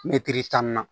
Mɛtiri tan na